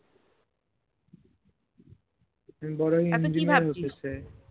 আমি বড় হয়ে হতে চাই